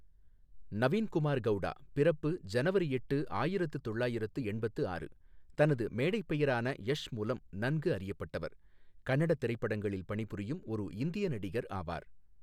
நவீன் குமார் கௌடா பிறப்பு ஜனவரி எட்டு, ஆயிரத்து தொள்ளாயிரத்து எண்பத்து ஆறு, தனது மேடைப் பெயரான யஷ் மூலம் நன்கு அறியப்பட்டவர், கன்னட திரைப்படங்களில் பணிபுரியும் ஒரு இந்திய நடிகர் ஆவார்.